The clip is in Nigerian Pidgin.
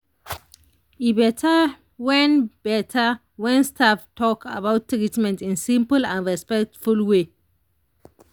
e better when better when staff talk about treatment in simple and respectful way.